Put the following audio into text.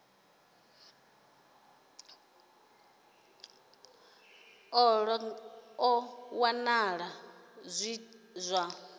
ṱolwa zwa wanala zwi zwa